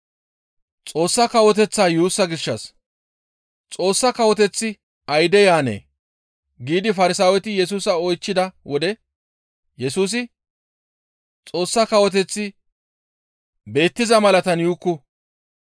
«Xoossa Kawoteththi ayde yaanee?» giidi Farsaaweti Yesusa oychchida wode Yesusi, «Xoossa kawoteththi beettiza malatatan yuukku.